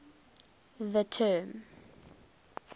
the term